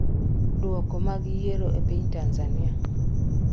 Duoko mag yiero e piny Tanzania.